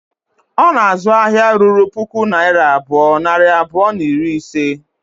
Ọ na-azụ ahịa ruru puku naira abụọ, nari abụọ na iri ise